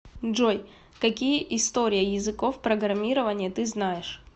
джой какие история языков программирования ты знаешь